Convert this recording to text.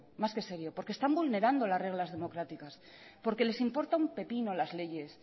más que serio porque están vulnerando las reglas democráticas porque les importa un pepino la leyes